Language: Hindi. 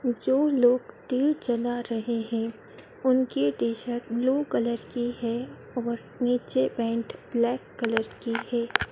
जो लोग दिए जला रहे हैं उनके टी_शर्ट ब्लू कलर की है और नीचे पैंट ब्लैक कलर की है।